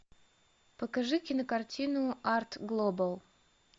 покажи кинокартину арт глобал